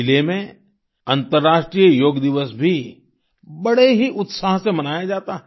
चिले में अन्तर्राष्ट्रीय योग दिवस भी बड़े ही उत्साह से मनाया जाता है